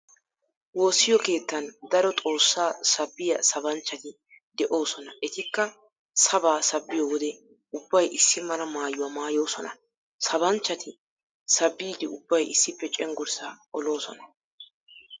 Woossiyo keettan daro xoossaa sabbiyaa sabanchchati de'oosona etikka sabaa sabbiyo wode ubbay issi mala maayuwaa maayoosona. Sabanchchati sabbiiddi ubbay issippe cenggurssaa oloosona.